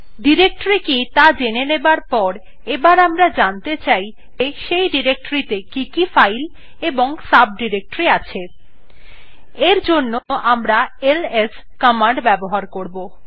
directory কি ত়া জেনে যাবার পর এবার আমরা জানতে চাই যে সেই ডিরেক্টরীটিতে কি কি ফাইল এবং সাবডিরেক্টরি আছে এর জন্য আমরা এলএস কমান্ড ব্যবহার করবো